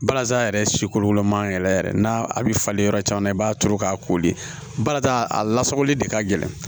Balazan yɛrɛ si kolokolo man yɛrɛ yɛrɛ n'a a bɛ falen yɔrɔ caman na i b'a turu k'a koli balata a lasagoli de ka gɛlɛn